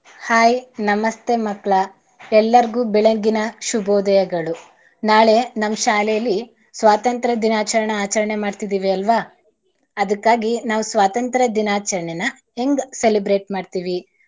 Hai ನಮಸ್ತೆ ಮಕ್ಳ. ಎಲ್ಲರ್ಗೂ ಬೆಳಗ್ಗಿನ ಶುಭೋದಯಗಳು. ನಾಳೆ ನಮ್ ಶಾಲೆಲಿ ಸ್ವಾತಂತ್ರ ದಿನಾಚರಣೆ ಆಚರಣೆ ಮಾಡ್ತಿದೀವಿ ಅಲ್ವಾ ಅದಕ್ಕಾಗಿ ನಾವು ಸ್ವಾತಂತ್ರ ದಿನಾಚರಣೆನ ಹೆಂಗ್ celebrate ಮಾಡ್ತೀವಿ.